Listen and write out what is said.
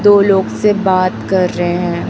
दो लोग से बात कर रहे हैं।